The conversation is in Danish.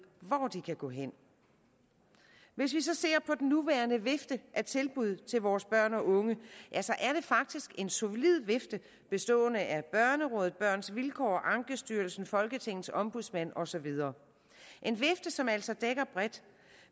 hvor de kan gå hen hvis vi så ser på den nuværende vifte af tilbud til vores børn og unge er det faktisk en solid vifte bestående af børnerådet børns vilkår ankestyrelsen folketingets ombudsmand og så videre en vifte som altså dækker bredt